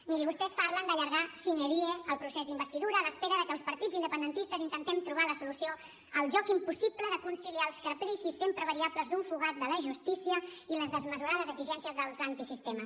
miri vostès parlen d’allargar sine die el procés d’investidura a l’espera que els partits independentistes intentem trobar la solució al joc impossible de conciliar els capricis sempre variables d’un fugat de la justícia i les desmesurades exigències dels antisistema